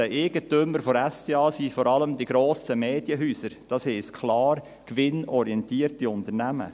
Eigentümer der SDA sind vor allem die grossen Medienhäuser, das heisst klar gewinnorientierte Unternehmen.